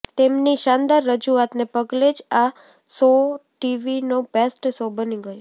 તેમની શાનદાર રજુઆતને પગલે જ આ શોટીવીનો બેસ્ટ શો બની ગયો